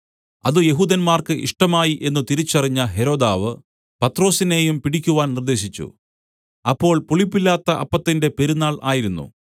അത് യെഹൂദന്മാർക്ക് ഇഷ്ടമായി എന്നു തിരിച്ചറിഞ്ഞ ഹെരോദാവ് പത്രൊസിനെയും പിടിക്കുവാൻ നിർദ്ദേശിച്ചു അപ്പോൾ പുളിപ്പില്ലാത്ത അപ്പത്തിന്റെ പെരുന്നാൾ ആയിരുന്നു